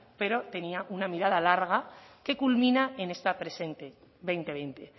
pero tenía una mirada larga que culmina en esta presente dos mil veinte